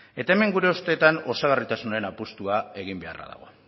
eta hemen gure ustetan osagarritasunaren apustua egin beharra dago